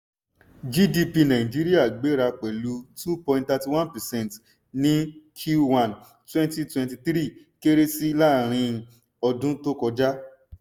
gdp nàìjíríà gbéra pẹ̀lú two point thirty one percent ní q one twenty twenty three kéré sí ìlàrin-ọdún tó kọjá.